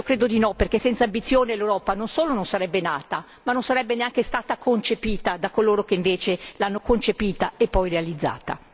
Io credo di no perché senza ambizione l'Europa non solo non sarebbe nata ma non sarebbe neanche stata concepita da coloro che l'hanno concepita e poi realizzata.